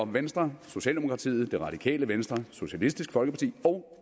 venstre socialdemokratiet det radikale venstre socialistisk folkeparti og